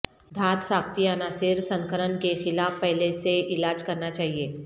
دھات ساختی عناصر سنکنرن کے خلاف پہلے سے علاج کرنا چاہئے